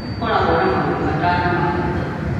Irĩa ikoragwo na maũndũ matano ma bata